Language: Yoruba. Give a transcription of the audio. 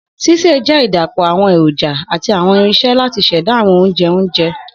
Sise jẹ idapọ awọn eroja ati awọn irinṣẹ lati ṣẹda awọn ounjẹ onjẹ